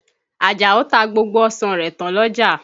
Àjàó ta gbogbo ọsàn rẹ̀ tán l'ọ́jà.